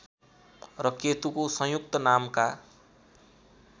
र केतुको संयुक्त नामका